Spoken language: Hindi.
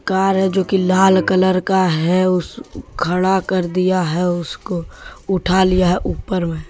कार है जोकि लाल कलर का है खड़ा कर दिया है उसको उठा लिया है ऊपर मे?